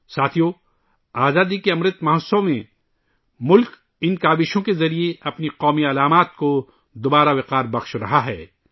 ساتھیو ، ملک آزادی کے امرت مہوتسو میں ، ان کوششوں سے اپنی قومی علامتوں کو دوبارہ قائم کر رہا ہے